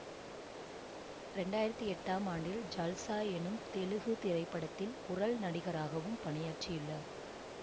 இரண்டு ஆயிரத்தி எட்டாம் ஆண்டில் ஜல்சா எனும் தெலுகு திரைப்படத்தில் குரல் நடிகராகவும் பணியாற்றியுள்ளார்